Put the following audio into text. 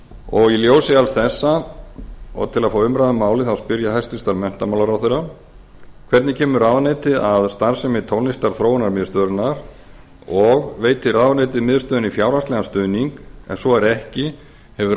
og í ljósi alls þessa og til að fá umræðu um málið spyr ég hæstvirtan menntamálaráðherra fyrstu hvernig kemur ráðuneytið að starfsemi tónlistarþróunarmiðstöðvarinnar annars veitir ráðuneytið miðstöðinni fjárhagslegan stuðning ef svo er ekki hefur